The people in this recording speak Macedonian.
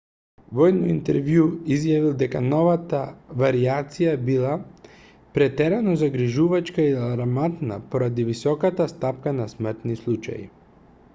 во едно интервју изјавил дека новата варијација била претерано загрижувачка и алармантна поради високата стапка на смртни случаи